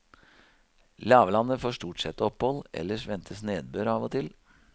Lavlandet får stort sett opphold, ellers ventes nedbør av og til.